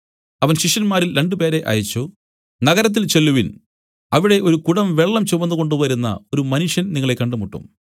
അവൻ ശിഷ്യന്മാരിൽ രണ്ടുപേരെ അയച്ചു നഗരത്തിൽ ചെല്ലുവിൻ അവിടെ ഒരു കുടം വെള്ളം ചുമന്നുകൊണ്ടുവരുന്ന ഒരു മനുഷ്യൻ നിങ്ങളെ കണ്ടുമുട്ടും